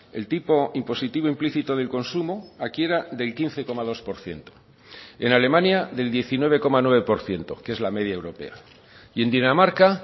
el tipo impositivo implícito del consumo aquí era del quince coma dos por ciento en alemania del diecinueve coma nueve por ciento que es la media europea y en dinamarca